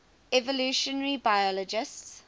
evolutionary biologists